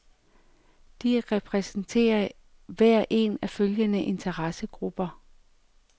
De repræsenterer hver en af følgende interessegrupper.